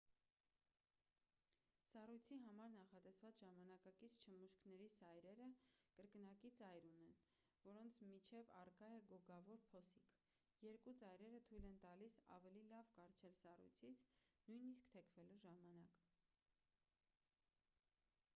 սառույցի համար նախատեսված ժամանակակից չմուշկների սայրերը կրկնակի ծայր ունեն որոնց միջև առկա է գոգավոր փոսիկ երկու ծայրերը թույլ են տալիս ավելի լավ կառչել սառույցից նույնիսկ թեքվելու ժամանակ